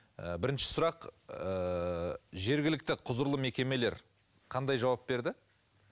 ы бірінші сұрақ ыыы жергілікті құзырлы мекемелер қандай жауап берді